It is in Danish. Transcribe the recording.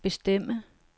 bestemme